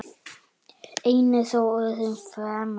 Einn er þó öðrum fremri.